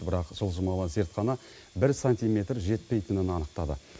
бірақ жылжымалы зертхана бір сантимер жетпейтінін анықтады